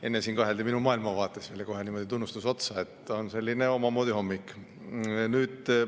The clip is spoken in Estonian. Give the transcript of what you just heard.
Enne siin kaheldi minu maailmavaates, nüüd tuli kohe tunnustas otsa, nii et on selline omamoodi hommik.